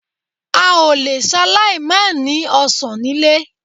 A ò le ṣaláì mànìí ọ̀sán nílé